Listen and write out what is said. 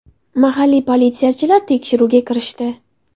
Mahalliy politsiyachilar tekshiruvga kirishdi.